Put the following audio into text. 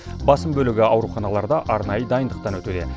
басым бөлігі ауруханаларда арнайы дайындықтан өтуде